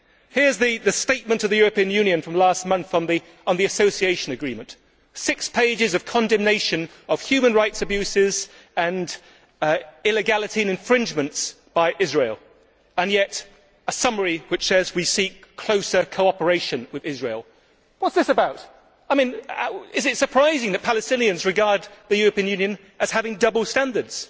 Here is the statement of the European Union from last month on the association agreement six pages of condemnation of human rights abuses and illegality and infringements by Israel and yet a summary which says we seek closer cooperation with Israel. What is this about? Is it surprising that Palestinians regard the European Union as having double standards?